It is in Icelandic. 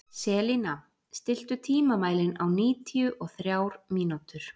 Selina, stilltu tímamælinn á níutíu og þrjár mínútur.